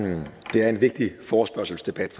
det er en vigtig forespørgselsdebat